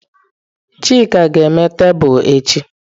Chike ga-eme tebụl echi.